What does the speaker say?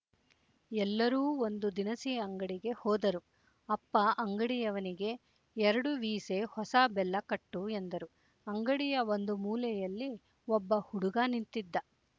ಎಲ್ಲರೂ ಒಂದು ದಿನಸಿ ಅಂಗಡಿಗೆ ಹೋದರು ಅಪ್ಪ ಅಂಗಡಿಯವನಿಗೆ ಎರಡು ವೀಸೆ ಹೊಸ ಬೆಲ್ಲ ಕಟ್ಟು ಎಂದರು ಅಂಗಡಿಯ ಒಂದು ಮೂಲೆಯಲ್ಲಿ ಒಬ್ಬ ಹುಡುಗ ನಿಂತಿದ್ದ